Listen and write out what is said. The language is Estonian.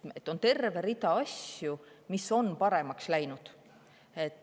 Nii et on terve hulk asju, mis on paremaks läinud.